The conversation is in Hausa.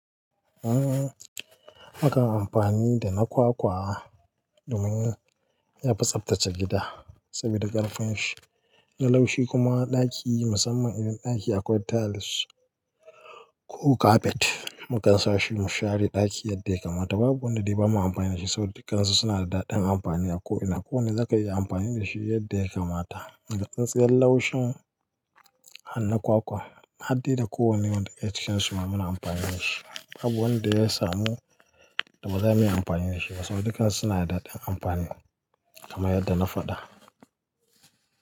Mukan amfani da na kwakwa domin yafi tsaftace gida saboda ƙarfin shi na laushi kuma ɗaki musamman idan ɗaki akwai tiles ko carpet mukan sa shi mu share ɗaki yadda ya kamata. Babu wanda bai bamu amfani da shi ba saboda dukansu suna da daɗin amfani a ko ina. Ko wane zaka iya amfani da shi yadda ya kamata. Daga tsintsiyar laushin har na kwakwa harde da kowane wanda yake cikin su muna amfani da shi. Babu wanda ya samu da ba za mu iya amfani da shi ba saboda dukansu suna da daɗin amfani kamar yadda na faɗa.